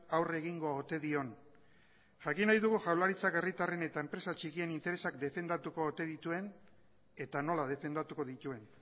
aurre egingo ote dion jakin nahi dugu jaurlaritzak herritarren eta enpresa txikien interesak defendatuko ote dituen eta nola defendatuko dituen